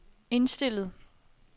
indstillet